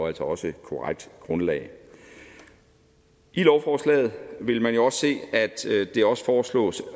altså også korrekt grundlag i lovforslaget vil man også se at det også foreslås